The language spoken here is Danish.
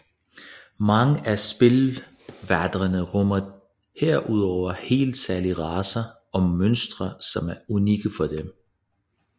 Mange af spilverdenerne rummer herudover helt særlige racer og monstre som er unikke for dem